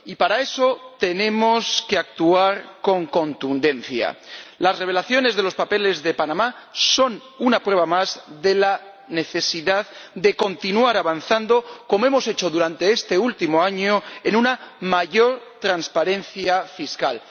Y para eso tenemos que actuar con contundencia. Las revelaciones de los papeles de Panamá son una prueba más de la necesidad de continuar avanzando como lo hemos hecho durante este último año hacia una mayor transparencia fiscal.